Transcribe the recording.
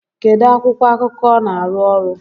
Kedu akwụkwọ akụkọ ọ na-arụ ọrụ?